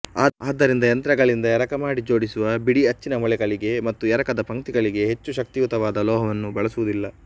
ಆದ್ದರಿಂದ ಯಂತ್ರಗಳಿಂದ ಎರಕ ಮಾಡಿ ಜೋಡಿಸುವ ಬಿಡಿ ಅಚ್ಚಿನ ಮೊಳೆಗಳಿಗೆ ಮತ್ತು ಎರಕದ ಪಂಕ್ತಿಗಳಿಗೆ ಹೆಚ್ಚು ಶಕ್ತಿಯುತವಾದ ಲೋಹವನ್ನು ಬಳಸುವುದಿಲ್ಲ